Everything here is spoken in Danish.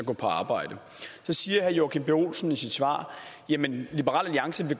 gå på arbejde siger herre joachim b olsen i sit svar jamen liberal alliance